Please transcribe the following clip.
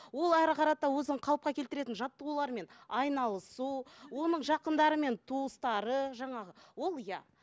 ол әрі қарата өзін қалыпқа келтіретін жаттығулармен айналысу оның жақындары мен туыстары жаңағы ол иә